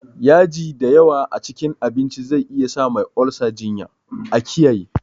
Yaji dayawa a cikin abinci zai iyasa Mai olsa jinya, a kiyaye.